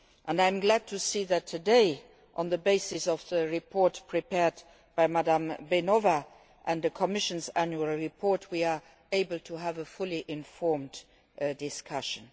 I am glad to see that today, on the basis of the report prepared by Ms Flašíková Beňová and the Commission's Annual Reports, we are able to hold a fully informed discussion.